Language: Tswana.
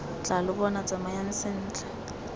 tla lo bona tsamayang sentle